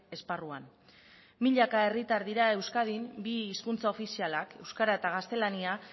esparruan milaka herritar dira euskadin bi hizkuntza ofizialak euskara eta gaztelania